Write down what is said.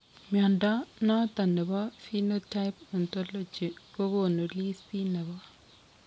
Mnyondo noton nebo Phenotype Ontology kogonu listit nebo